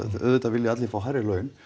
auðvitað vilja allir fá hærri laun